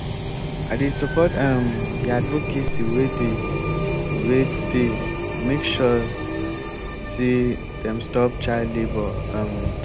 we dey create awareness for street make pipo know sey hiv dey real.